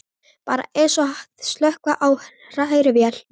Bara eins og að slökkva á hrærivél.